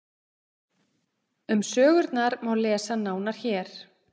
um sögurnar má lesa nánar hér